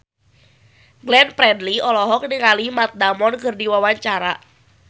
Glenn Fredly olohok ningali Matt Damon keur diwawancara